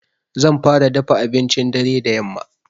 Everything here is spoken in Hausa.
Zan fara dafa abincin dare da yamma.